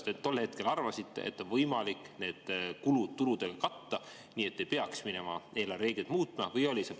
Kuidas te tol hetkel arvasite, et on võimalik need kulud tuludega katta nii, et ei peaks minema eelarvereegleid muutma?